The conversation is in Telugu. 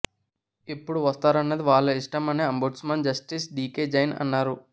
ఎప్పుడు వస్తారన్నది వాళ్ల ఇష్టం అని అంబుడ్స్మన్ జస్టిస్ డీకే జైన్ అన్నారు